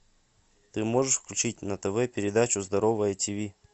ты можешь включить на тв передачу здоровое тиви